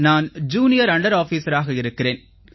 நான் junior under ஆஃபீஸராக இருக்கிறேன்